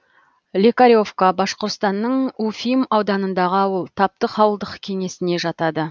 лекаревка башқұртстанның уфим ауданындағы ауыл таптык ауылдық кеңесіне жатады